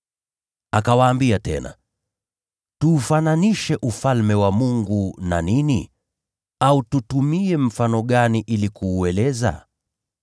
Akawaambia tena, “Tuufananishe Ufalme wa Mungu na nini? Au tutumie mfano gani ili kuueleza?